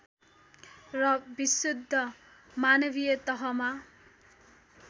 र विशुद्ध मानवीय तहमा